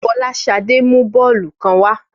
Fọláṣadé mú bọ́ọ̀lù kan wa.